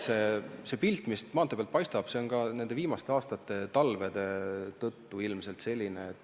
See pilt, mis maantee pealt paistab, on ilmselt nende viimaste aastate talvede tõttu selline.